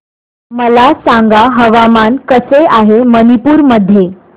मला सांगा हवामान कसे आहे मणिपूर मध्ये